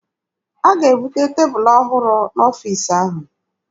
A ga-ebute tebụlụ ọhụrụ n'ọfiisi ahụ.